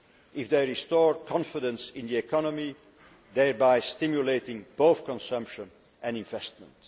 whole if they restore confidence in the economy, thereby stimulating both consumption and investment.